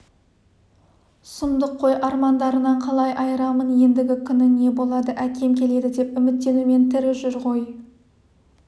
сұмдық қой армандарынан қалай айырамын ендігі күні не болады әкем келеді деп үміттенумен тірі жүр ғой